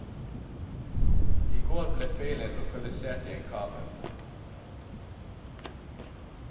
I går ble feilen lokalisert i en kabel.